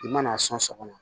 I mana a sɔn sɔgɔma